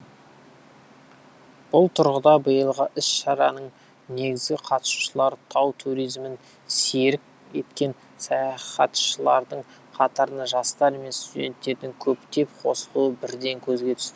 бұл тұрғыда биылғы іс шараның негізгі қатысушылары тау туризмін серік еткен саяхатшылардың қатарына жастар мен студенттердің көптеп қосылуы бірден көзге түсті